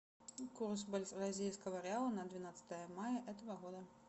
курс бразильского реала на двенадцатое мая этого года